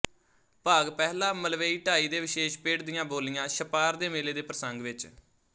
ਭਾਗ ਪਹਿਲਾ ਮਲਵਈ ਢਾਈ ਦੇ ਵਿਸ਼ੇਸ਼ ਪਿੜ ਦੀਆਂ ਬੋਲੀਆ ਛਪਾਰ ਦੇ ਮੇਲੇ ਦੇ ਪ੍ਰਸੰਗ ਵਿੱਚ